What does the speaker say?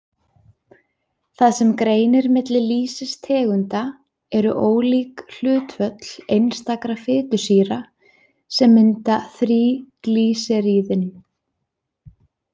Það sem greinir milli lýsistegunda eru ólík hlutföll einstakra fitusýra, sem mynda þríglýseríðin.